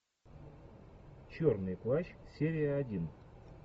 черный плащ серия один